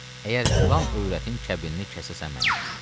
Əgər filan övrətin kəbinini kəsəsən mənə.